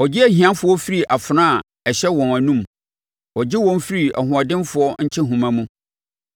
Ɔgye ahiafoɔ firi afena a ɛhyɛ wɔn anomu; ɔgye wɔn firi ahoɔdenfoɔ nkyehoma mu.